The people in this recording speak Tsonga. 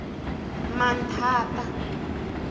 manthata